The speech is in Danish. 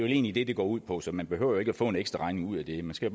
egentlig det det går ud på så man behøver ikke at få en ekstraregning ud af det man skal